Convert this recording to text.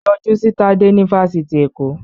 Yọjú si Tade ní fáfitì Èkó!